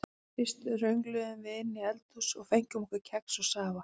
Fyrst röngluðum við inn í eldhús og fengum okkur kex og safa.